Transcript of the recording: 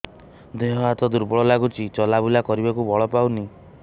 ଦେହ ହାତ ଦୁର୍ବଳ ଲାଗୁଛି ଚଲାବୁଲା କରିବାକୁ ବଳ ପାଉନି